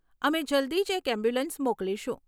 અમે જલ્દી જ એક એમ્બ્યુલન્સ મોકલીશુ.